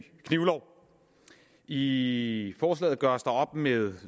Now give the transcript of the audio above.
knivlov i forslaget gøres der op med